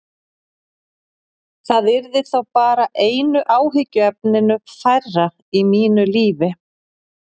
Það yrði þá bara einu áhyggjuefninu færra í mínu lífi.